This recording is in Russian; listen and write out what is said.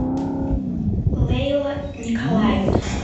лейла николаевна